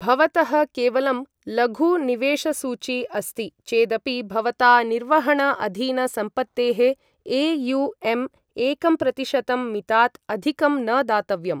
भवतः केवलं लघु निवेशसूची अस्ति चेदपि भवता निर्वहण अधीन सम्पत्तेः ए.यु.एम् एकंप्रतिशतम् मितात् अधिकं न दातव्यम्।